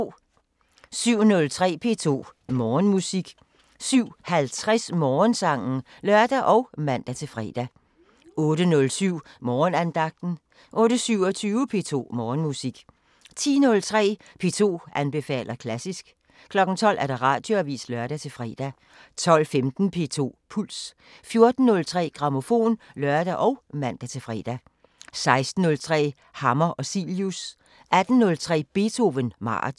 07:03: P2 Morgenmusik 07:50: Morgensangen (lør og man-fre) 08:07: Morgenandagten 08:27: P2 Morgenmusik 10:03: P2 anbefaler klassisk 12:00: Radioavisen (lør-fre) 12:15: P2 Puls 14:03: Grammofon (lør og man-fre) 16:03: Hammer og Cilius 18:03: Beethoven maraton